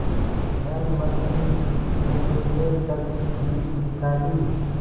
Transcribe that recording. अहलमद ने संदूक से तजबीज निकाली